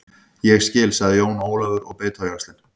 Ég skil, sagði Jón Ólafur og beit á jaxlinn.